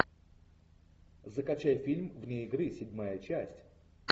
закачай фильм вне игры седьмая часть